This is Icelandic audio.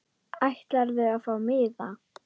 Ætlarðu að fá miða?